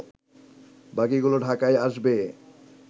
বাকিগুলো ঢাকায় আসবে